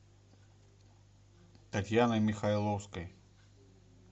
татьяной михайловской